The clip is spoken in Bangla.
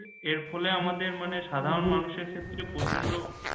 এর ফলে আমাদের মানে সাধারণ মানুষের ক্ষেত্রে প্রচণ্ড